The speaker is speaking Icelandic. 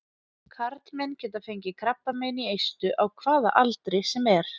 Karlmenn geta fengið krabbamein í eistu á hvaða aldri sem er.